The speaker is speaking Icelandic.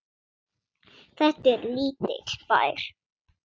Þetta er lítill bær.